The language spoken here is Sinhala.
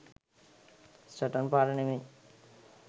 සටන් පාඨ නෙමෙයි.